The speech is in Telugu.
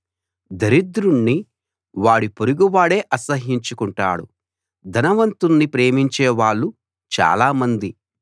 దరిద్రుణ్ణి వాడి పొరుగువాడే అసహ్యించుకుంటాడు ధనవంతుణ్ణి ప్రేమించే వాళ్ళు చాలామంది